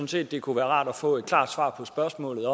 set det kunne være rart at få et klart svar på spørgsmålet